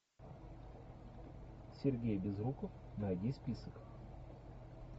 сергей безруков найди список